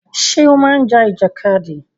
Ṣé o máa ń ja ìjàkadì?